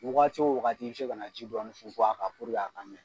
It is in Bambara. Wagati o wagati i bɛ se ka na ji dɔɔni fun fun a kan puruke a ka ɲi